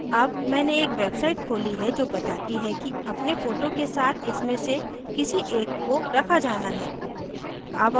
अब मैंने एक website खोली है जो बताती है कि अपने फोटो के साथ इनमे से किसी एक को रखा जाना है